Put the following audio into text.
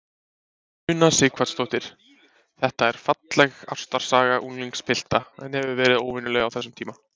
Una Sighvatsdóttir: Þetta er falleg ástarsaga unglingspilta, en hefur verið óvenjulegt á þessum tíma?